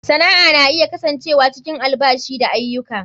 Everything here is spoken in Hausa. Sana'a na iya kasancewa cikin albashi da aiyuka.